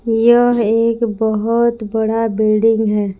यह एक बहोत बड़ा बिल्डिंग है।